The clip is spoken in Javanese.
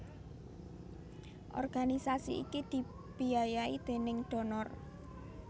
Organisasi iki dibiayai déning donor